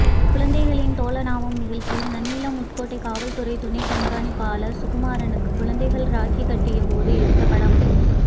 குழந்தைகளின் தோழனாவோம் நிகழ்ச்சியில் நன்னிலம் உட்கோட்ட காவல்துறை துணை கண்காணிப்பாளா் சுகுமாரனுக்கு குழந்தைகள் ராக்கி கட்டிய போது எடுத்த படம்